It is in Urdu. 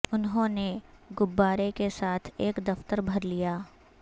انہوں نے گببارے کے ساتھ ایک دفتر بھر لیا